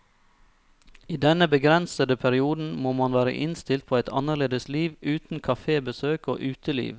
I denne begrensede perioden må man være innstilt på et annerledes liv, uten kafébesøk og uteliv.